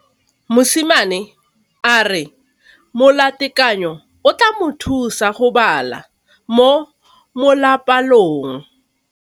Mosimane a re molatekanyô o tla mo thusa go bala mo molapalong.